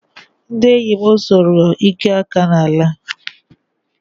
Ndị enyi m sụrụ ike aka n'ala